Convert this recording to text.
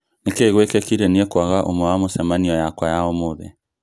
nikĩ gwekĩkire niĩ kwaga ũmwe wa mucemanio yakwa ya ũmũthĩ